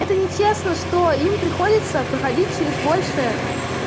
это нечестно что им приходится проходить через большее